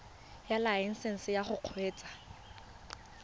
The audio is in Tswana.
ya laesesnse ya go kgweetsa